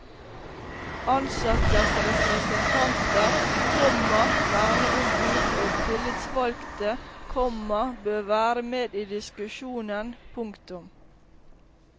Ansattes representanter, komma verneombud og tillitsvalgte, komma bør være med i diskusjonen. punktum